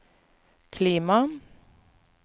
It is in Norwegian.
klima